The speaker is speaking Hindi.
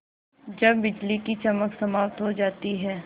जब बिजली की चमक समाप्त हो जाती है